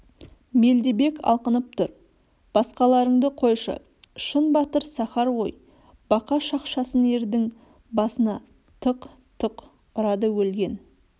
мелдебек алқынып тұр басқаларыңды қойшы шын батыр сахар ғой бақа шақшасын ердің басына тық-тық ұрады өлген